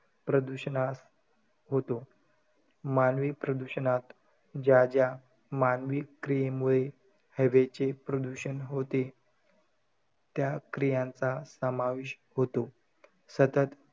प्रदूषणात होतो. मानवी प्रदूषणात, ज्या ज्या मानवी क्रियेमुळे हवेचे प्रदूषण होते. त्या क्रियांचा समावेश होतो. सतत,